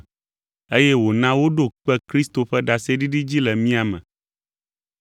eye wòna woɖo kpe Kristo ƒe ɖaseɖiɖi dzi le mía me.